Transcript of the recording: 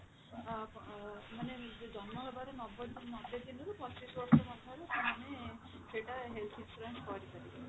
ଅ ମାନେ ଜନ୍ମ ହେବାର ନବ ନବେ ଦିନରୁ ପଚିଶ ବର୍ଷ ମଧ୍ୟରେ ସେମାନେ ସେଟା health insurance କରିପାରିବେ